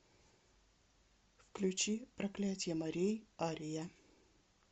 включи проклятье морей ария